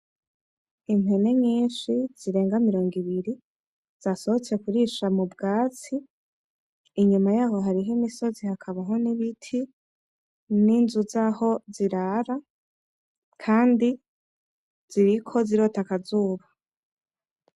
Impene nyinshi zirenga mirongo ibiri zasosotse kurisha mubwatsi, inyuma yaho hakab hari imisozi hamwe n'ibiti, n'inzu zaho zirara kandi ziriko zirota akazuba